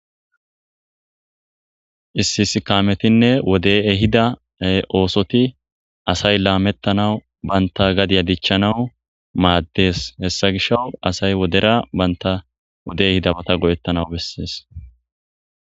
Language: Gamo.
Issi issi kaametinne wodey ehida oosota asay lametanaw banta gadiya dichanaw maadees. Hessa gishaw asay wodera bantta wodey ehida mala go'etanaw bessees.